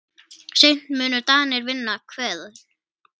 Seint munu Danir vinna Hveðn.